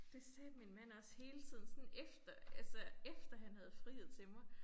Det sagde min mand også hele tiden sådan efter altså efter han havde friet til mig